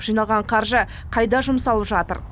жиналған қаржы қайда жұмсалып жатыр